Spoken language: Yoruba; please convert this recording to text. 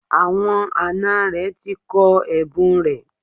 Àwọn àna rẹ̀ ti kọ ẹ̀bùn rẹ̀